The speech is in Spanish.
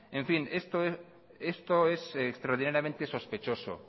en fin esto es extraordinariamente sospechoso